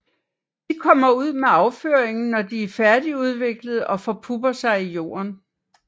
De kommer ud med afføringen når de er færdigudviklede og forpupper sig i jorden